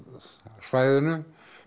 svæðinu